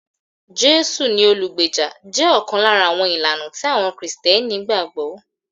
Jésù ni olùgbàlà jẹ́ ọ̀kan lára àwọn ìlànà tí àwọn Kristẹni gbàgbọ́